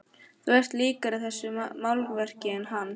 Þú ert líkari þessu málverki en hann.